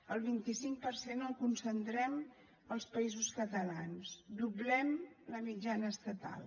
el vint cinc per cent el concentrem als països catalans doblem la mitjana estatal